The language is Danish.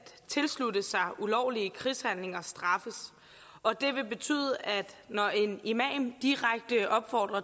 tilslutte sig ulovlige krigshandlinger straffes og det vil betyde at når en imam direkte opfordrer